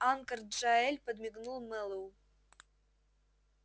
анкор джаэль подмигнул мэллоу